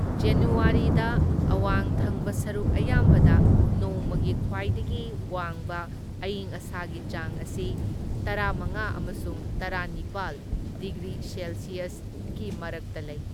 ꯖꯅꯨꯋꯥꯔꯤꯗ ꯑꯋꯥꯡ ꯊꯪꯕ ꯁꯔꯨꯛ ꯑꯌꯥꯝꯕꯗ ꯅꯣꯡꯃꯒꯤ ꯈ꯭ꯋꯥꯏꯗꯒꯤ ꯋꯥꯡꯕ ꯑꯌꯤꯡ ꯑꯁꯥꯒꯤ ꯆꯥꯡ ꯑꯁꯤ ꯇꯔꯥꯃꯉꯥ ꯑꯃꯁꯨꯡ ꯇꯔꯥꯅꯤꯄꯥꯜ ꯗꯤꯒ꯭ꯔꯤ ꯁꯦꯜꯁꯤꯌꯁꯀꯤ ꯃꯔꯛꯇ ꯂꯩ꯫